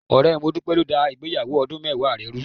Ọ̀rẹ́ Modúpẹ́ ló dá ìgbéyàwó ọdún mẹ́wàá rẹ̀ rùú.